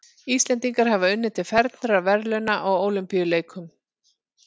Íslendingar hafa unnið til fernra verðlauna á Ólympíuleikum.